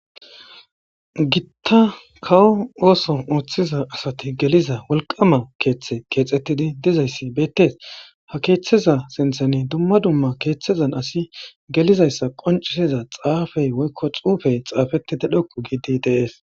Gitta kawo ooso ooththiza asati geliza wolqama keeththe keexettidi dizayssi beettees ha keeththeza sintheni dumma dumma keeththezan asi gelizayssa qoncisiza xaafey woykko xuufey xaafetide dhokku giidi deees.